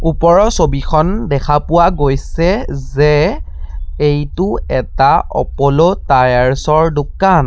ওপৰৰ ছবিখন দেখা পোৱা গৈছে যে এইটো এটা অপ'লো টায়াৰচৰ দোকান।